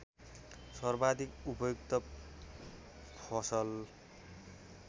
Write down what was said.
सर्वाधिक उपयुक्त फसल